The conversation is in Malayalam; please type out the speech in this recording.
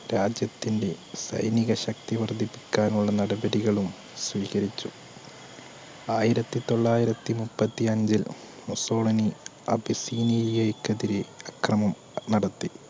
രാജ്യത്തിൻറെ സൈനിക ശക്തി വർധിപ്പിക്കാനുള്ള നടപടികളും സ്വീകരിച്ചു ആയിരത്തി തൊള്ളായിരത്തിമുപ്പത്തി അഞ്ചിൽ മുസോളിനി ക്കെതിരെ അക്രമം നടത്തി